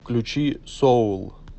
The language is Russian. включи соул